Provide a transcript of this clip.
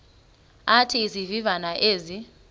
athi izivivane ezi